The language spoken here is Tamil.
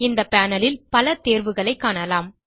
இந்த panelல் பல தேர்வுகளைக் காணலாம்